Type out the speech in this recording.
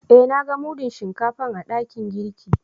Eh, na gan mudun Shinkafan a dakin girki.